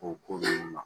O ko ninnu ma